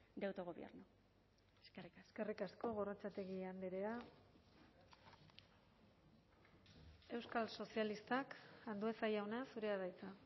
de autogobierno eskerrik asko eskerrik asko gorrotxategi andrea euskal sozialistak andueza jauna zurea da hitza